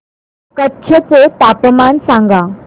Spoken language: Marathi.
कच्छ चे तापमान सांगा